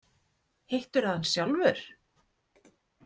Hittirðu hann sjálfur?